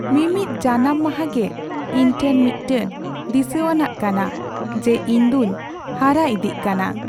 ᱢᱤᱢᱤᱫ ᱡᱟᱱᱟᱢ ᱢᱟᱸᱦᱟ ᱜᱮ ᱤᱧ ᱴᱷᱮᱱ ᱢᱤᱫᱴᱟᱝ ᱫᱤᱥᱟᱹᱣᱟᱱᱟᱜ ᱠᱟᱱᱟ ᱡᱮ ᱤᱧ ᱫᱚᱧ ᱦᱟᱨᱟ ᱤᱫᱤᱜ ᱠᱟᱱᱟ ᱾